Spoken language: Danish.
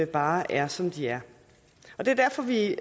bare er som de er det er derfor vi